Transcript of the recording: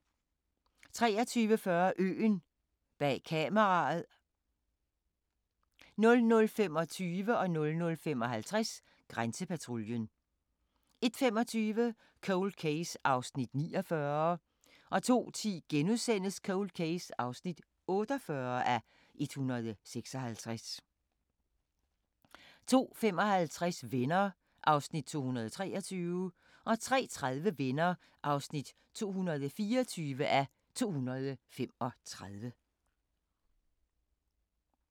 23:40: Øen – bag kameraet 00:25: Grænsepatruljen 00:55: Grænsepatruljen 01:25: Cold Case (49:156) 02:10: Cold Case (48:156)* 02:55: Venner (223:235) 03:30: Venner (224:235)